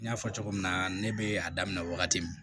N y'a fɔ cogo min na ne bɛ a daminɛ wagati min